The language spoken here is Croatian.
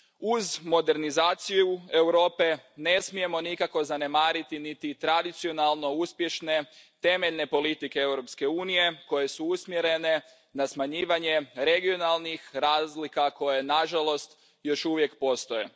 Uz modernizaciju Europe, ne smijemo nikako zanemariti niti tradicionalno uspješne temeljne politike Europske unije koje su usmjerene na smanjivanje regionalnih razlika koje, nažalost, još uvijek postoje.